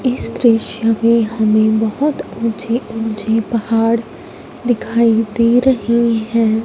इस दृश्य में हमें बहोत ऊंचे ऊंचे पहाड़ दिखाई दे रहे है।